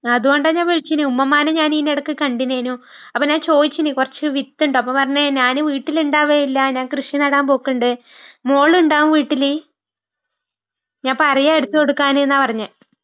അതുകൊണ്ടാ ഞാൻ വിളിച്ചിന്.ഉമ്മുമ്മാനെ ഞാൻ ഇയ്നെടയ്ക്ക് കണ്ടിനായ്ന്നു. അപ്പൊ ഞൻ ചോയിച്ചിനി കുറച്ച് വിത്തുണ്ടോ ? അപ്പൊ പറഞ്ഞ് ഞാന് വീട്ടിൽ ഉണ്ടവുകേ ഇല്ല, ഞാന് കൃഷി നടാൻ പോക്കുണ്ട്.മോള് ഉണ്ടാകും വീട്ടില്..ഞാൻ പറയാം എടുത്തുകൊടുക്കാൻ എന്നാ പറഞ്ഞേ...